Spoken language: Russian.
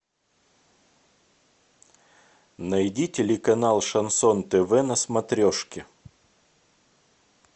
найди телеканал шансон тв на смотрешке